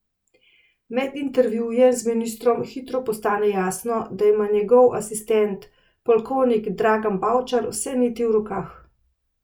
Med intervjujem z ministrom hitro postane jasno, da ima njegov asistent polkovnik Dragan Bavčar vse niti v rokah.